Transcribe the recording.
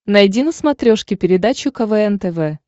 найди на смотрешке передачу квн тв